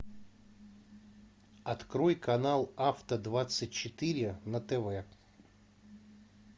открой канал авто двадцать четыре на тв